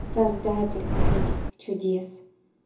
создатель этих чудес